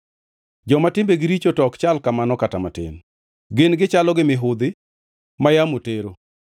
Joma timbegi richo to ok chal kamano kata matin! Gin gichalo gi mihudhi, ma yamo tero.